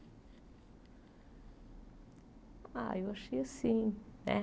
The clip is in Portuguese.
Ah, eu achei assim, né?